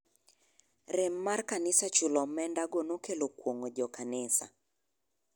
Rem mar kanisa chulo omenda go nokelo kuong'o jo kanisa.